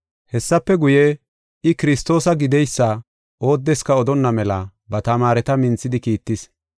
Hessafe guye, I, Kiristoosa gideysa oodeska odonna mela ba tamaareta minthidi kiittis.